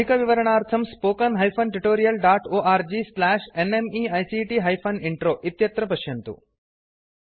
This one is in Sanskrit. अधिकविवरणार्थं spoken hyphen tutorial dot org slash NMEICT hyphen intro इत्यत्र पश्यन्तु